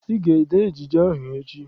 Ị ga-ede ejije ahụ echi!